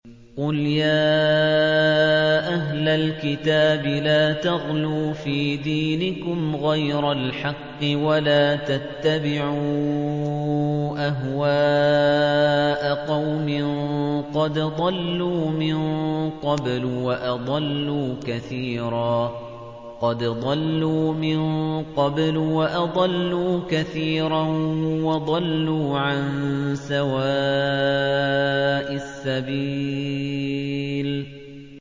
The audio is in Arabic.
قُلْ يَا أَهْلَ الْكِتَابِ لَا تَغْلُوا فِي دِينِكُمْ غَيْرَ الْحَقِّ وَلَا تَتَّبِعُوا أَهْوَاءَ قَوْمٍ قَدْ ضَلُّوا مِن قَبْلُ وَأَضَلُّوا كَثِيرًا وَضَلُّوا عَن سَوَاءِ السَّبِيلِ